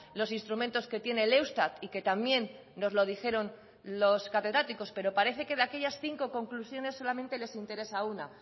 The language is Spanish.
los instrumentos que tiene el eustat y que también nos lo dijeron los catedráticos pero parece que de aquellas cinco conclusiones solamente les interesa una